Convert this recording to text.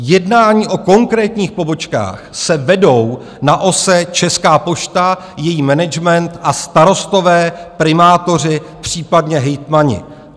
Jednání o konkrétních pobočkách se vedou na ose Česká pošta, její management a starostové, primátoři, případně hejtmani.